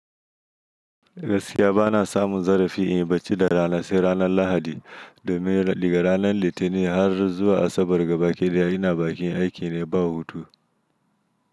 Gaskiya bana samun zarafi in yi bacci da rana sai ranar Lahadi domin daga ranar Litinin har zuwa Asabar ga baki da ya ina bakin aiki ne ba hutu.